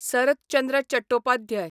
सरत चंद्र चटोपाध्याय